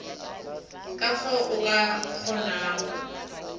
ka fao a ka kgonago